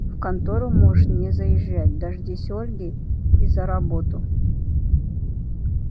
в контору можешь не заезжать дождись ольги и за работу